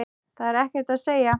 Það er ekkert að segja.